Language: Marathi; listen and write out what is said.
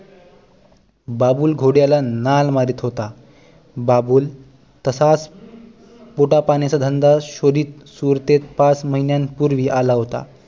बाबूल घोड्याला नाल मारीत होता बाबूल तसाच पोटा पाण्याचा धंदा शोधीत सुरतेत पाच महिन्यां पूर्वी आला होता